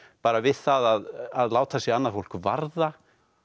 bara við það að láta sig annað fólk varða